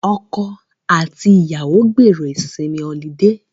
Ọkọ àti ìyàwó gbèrò ìsinmi olidé